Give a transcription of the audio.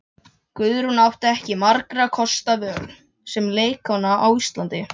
Guðrún átti ekki margra kosta völ sem leikkona á Íslandi.